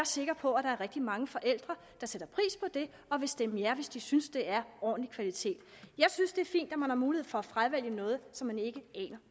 sikker på at der er rigtig mange forældre der sætter pris på det og vil stemme ja hvis de synes at det er ordentlig kvalitet jeg synes det er fint at man har mulighed for at fravælge noget som man ikke aner